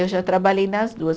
Eu já trabalhei nas duas.